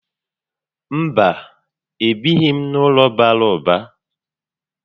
Mba, e bighi m n'ụlọ bàrà ụba